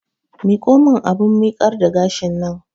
Miƙo mun abun miƙar da gashin nan!